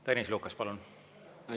Tõnis Lukas, palun!